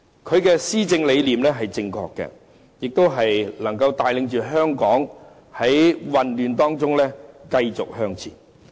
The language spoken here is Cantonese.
他的施政理念是正確的，亦能帶領香港在混亂當中繼續向前。